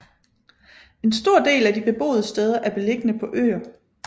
En stor del af de beboede steder er beliggende på øer